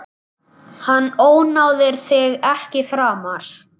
Hann ónáðar þig ekki framar.